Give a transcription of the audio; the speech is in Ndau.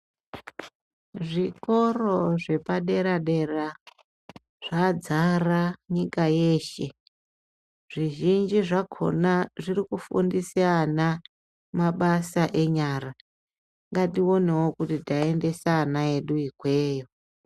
Zvikoro zvepadera dera, zvadzara nyika yeshe. Zvizhinji zvakhona zvirikufundisa ana mabasa enyara. Ngatiwoneyi wo kuti taendesa vana eduwe ikweyo.